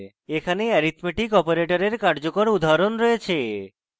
এখানে অ্যারীথমেটিক অপারেটরের কার্যকর উদাহরণ রয়েছে